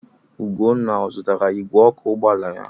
Ugonna ọ zụtara igwe ọkụ ụgbọala ya?